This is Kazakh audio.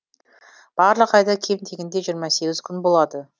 барлық айда кем дегенде жиырма сегіз күн болады